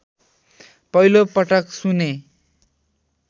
पहिलोपटक सुने